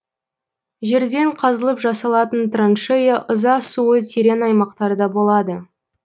жерден қазылып жасалатын траншея ыза суы терең аймақтарда болады